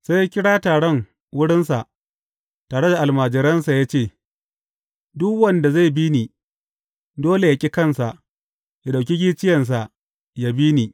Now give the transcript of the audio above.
Sai ya kira taron wurinsa tare da almajiransa ya ce, Duk wanda zai bi ni, dole yă ƙi kansa, yă ɗauki gicciyensa yă bi ni.